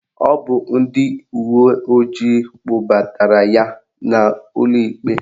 Ọ bụ ndị uwe ojii kpụbatara ya ụlọikpe